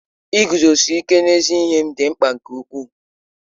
Iguzosi ike n'ezi ihe m dị mkpa nke ukwuu.